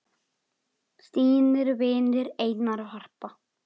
þínir vinir, Einar og Harpa.